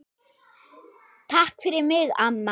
Takk fyrir mig, amma.